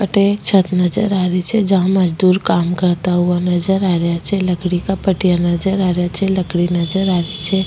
अठ एक छत नजर आ रही छे जमा मजदुर काम करता नजर रे छे लकड़ी का पटियां नजर आ रे छे लकड़ी नजर आ रहे छे।